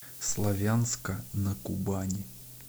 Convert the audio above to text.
славянска на кубани